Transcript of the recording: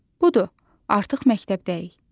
Budur, artıq məktəbdəyik.